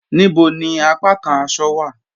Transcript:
Níbò ni àpàkàn àṣọ̀ wa?